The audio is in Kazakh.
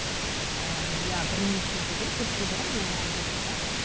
ыыы иә бірнеше жыл бұрын төрт жыл бұрын менің мамам қайтыс болған